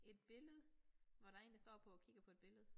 Et billede hvor der én der står på og kigger på et billede